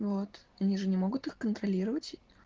вот они же не могут их контролировать